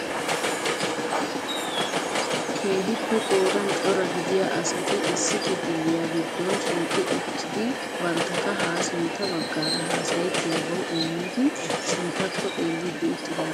Keejippe qoodan cora gidiyaa asati issi kifiliya giddon shiiqi uttido bantta kaha sintta baggaara haassayettiyaabaw immidi sinttakko xeellidi uttidaageeti beettoosona.